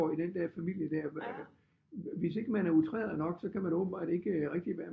I den der familie der hvis ikke man er outreret nok så kan man åbentbart ikke rigtig være